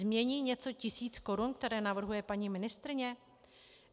Změní něco tisíc korun, které navrhuje paní ministryně?